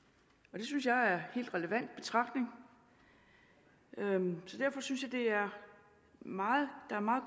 det synes jeg er helt relevant betragtning så derfor synes jeg er meget